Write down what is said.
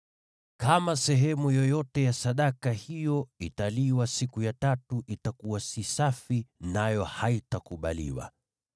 Kama sehemu yoyote ya sadaka hiyo italiwa siku ya tatu, itakuwa si safi, nayo haitakubaliwa.